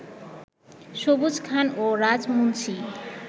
সবুজ খান ও রাজ মুন্সী